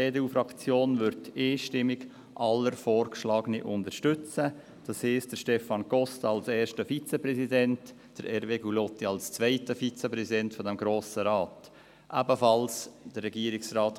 Die EDUFraktion wird alle Vorgeschlagenen einstimmig unterstützen – Stefan Costa als ersten Vizepräsidenten, Hervé Gullotti als zweiten Vizepräsidenten des Grossen Rates, ebenfalls